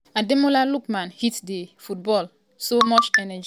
ademola lookman hit di ball wit so much energy wey wan almost comot di keeper hand.